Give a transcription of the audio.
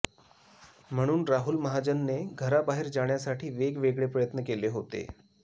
म्हणून राहुल महाजनने घराबाहेर जाण्यासाठी वेगवेगळे प्रयत्न केले होते